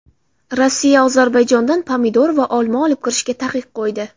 Rossiya Ozarbayjondan pomidor va olma olib kirishga taqiq qo‘ydi.